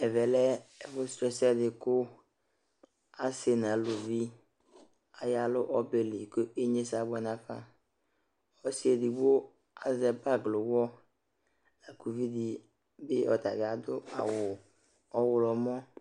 Ɛmɛ lɛ ɛfʋ sʋ ɛsɛ ,kʋ asɩ nʋ aluvi aya lʋ ɔbɛli kʋ inyesɛ abʋɛ nafaƆsɩ edigbo asɛ pablowɔ, kʋ uvi di ɔta bɩ adʋ awʋ ɔɣlɔmɔ